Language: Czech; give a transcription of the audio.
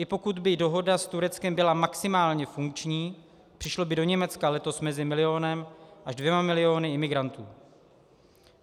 I pokud by dohoda s Tureckem byla maximálně funkční, přišlo by do Německa letos mezi milionem až dvěma miliony imigrantů.